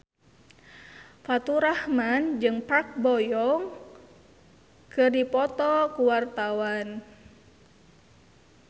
Faturrahman jeung Park Bo Yung keur dipoto ku wartawan